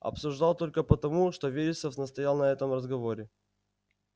обсуждал только потому что вересов настоял на этом разговоре